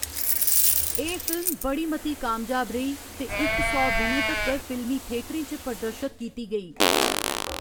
एह्‌‌ फिल्म बड़ी मती कामयाब रेही ते इक सौ दिनें तक्कर फिल्मी थेटरें च प्रदर्शत कीती गेई।